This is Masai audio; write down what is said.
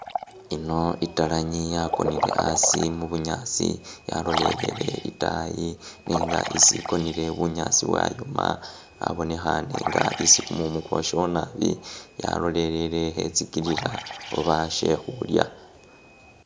Ino italangi yakonele asi mubunyaasi yalolelele itaayi nenga isi ikonele bunyaasi bwayoma, abonekhane nga isi kumumu kwoshawo naabi yalolele khetsikilila babashe khulya.